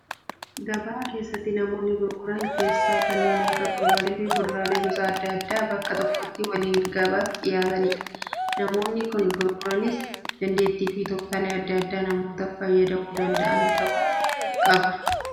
Gabaa keessatti namoonni gurguran keessaa kanneen akka fuduraalee fi kuduraaleen gosa adda addaa bakka tokkotti waliin gabaaf dhiyaatanidha. Namoonni kana gurguranis dandeettii fi tooftaalee adda addaa namoota fayyadamuu danda'an ta'uu qaba.